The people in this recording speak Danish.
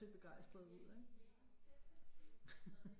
Se begejstrede ud ikke